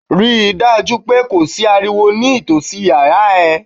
Rí dájú pé kò sí ariwo ní ìtòsí yàrá ẹ.